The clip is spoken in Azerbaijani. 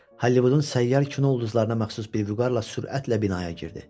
Hollivudun səyyar kino ulduzlarına məxsus bir vüqarla sürətlə binaya girdi.